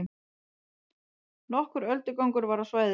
Nokkur öldugangur var á svæðinu